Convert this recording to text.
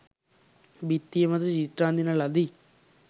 බිත්තිය මත චිත්‍ර අඳින ලදී.